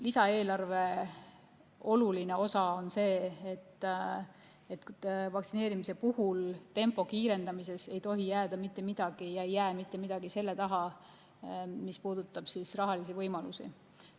Lisaeelarve oluline osa on see, et vaktsineerimise tempo kiirendamisel ei tohi mitte midagi jääda ja mitte midagi ei jäägi rahaliste võimaluste taha.